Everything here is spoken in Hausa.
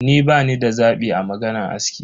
Ni bani da zabi a maganan aski.